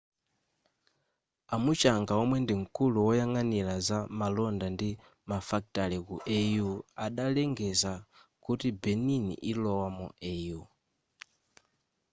a muchanga omwe ndimkulu woyang'anira za malonda ndi mafakitale ku au adalengeza kuti benin ilowa mu au